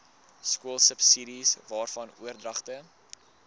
skoolsubsidies waarvan oordragte